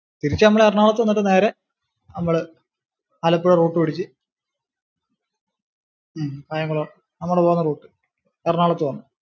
തിരിച്ചു നമ്മൾ എറണാകുളത്തു വന്നിട്ട് നേരെ നമ്മള് ആലപ്പുഴ route പിടിച്ചു ഹും കായംകുളം നമ്മള് പോന്ന route എറണാകുളത്തു വന്നു.